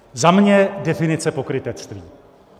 Za mě - definice pokrytectví.